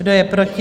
Kdo je proti?